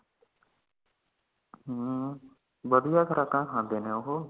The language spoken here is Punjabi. ਹਾਂ ਵਧੀਆ ਖੁਰਾਕਾਂ ਖਾਂਦੇ ਨੇ ਓਹੋ